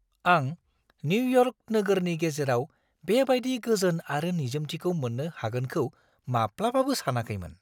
आं निउयर्क नोगोरनि गेजेराव बेबायदि गोजोन आरो निजोमथिखौ मोन्नो हागोनखौ माब्लाबाबो सानाखैमोन!